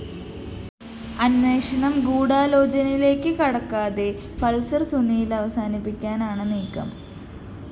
അന്വേഷണം ഗൂഢാലോചനയിലേക്ക് കടക്കാതെ പള്‍സര്‍ സുനിയില്‍ അവസാനിപ്പിക്കാനാണ് നീക്കം